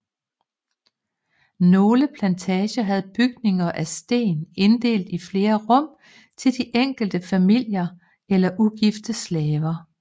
Nogle plantager havde bygninger af sten inddelte i flere rum til de enkelte familier eller ugifte slaver